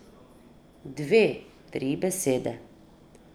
Dve, tri besede.